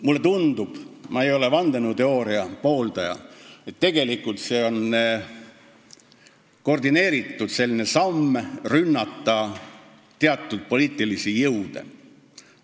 Mulle tundub, ehkki ma ei ole vandenõuteooria pooldaja, et tegelikult on see koordineeritud samm ründamaks teatud poliitilisi jõude.